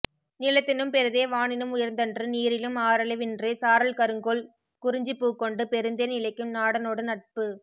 நிலத்தினும் பெரிதே வானினும் உயர்ந்தன்று நீரிலும் ஆரளவின்றே சாரல் கருங்கோல் குறிஞ்சிப் பூக்கொண்டு பெருந்தேன் இழைக்கும் நாடனொடு நட்பு